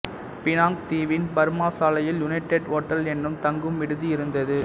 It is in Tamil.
பினாங்குத் தீவின் பர்மா சாலையில் யுனைடெட் ஓட்டல் எனும் தங்கும் விடுதி இருந்தது